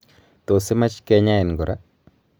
tuss imach kenyain kora